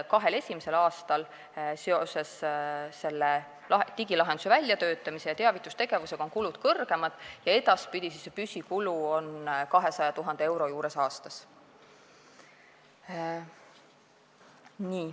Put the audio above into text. Kahel esimesel aastal on seoses digilahenduse väljatöötamise ja teavitustegevusega kulud suuremad, edaspidi on püsikulud 200 000 euro juures aastas.